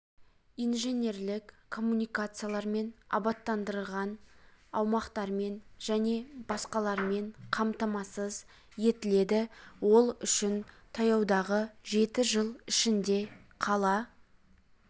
инженерлік коммуникациялармен абаттандырыған аумақтармен және басқаларымен қамтамасыз етіледі ол үшін таяудағы жеті жыл ішінде қала